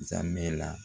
Zamɛ la